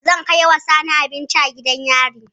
Zan kaiwa Sani abinci a gidan yari